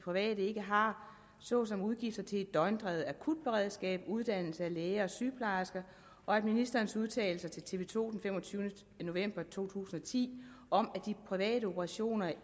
private ikke har såsom udgifter til et døgndrevet akutberedskab uddannelse af læger og sygeplejersker og at ministerens udtalelser til tv to den femogtyvende november to tusind og ti om at de private operationer jo